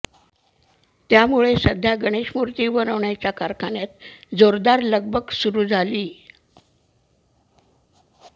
त्यामुळे सध्या गणेश मूर्ती बनवण्याच्या कारखान्यात जोरदार लगबग सुरु झालीय